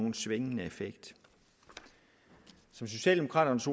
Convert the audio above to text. en svingende effekt som socialdemokraternes